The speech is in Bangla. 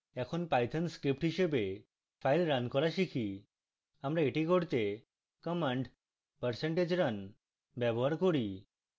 এখন python script হিসাবে file রান করা শিখি